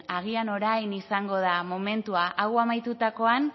agian orain izango da momentua hau amaitutakoan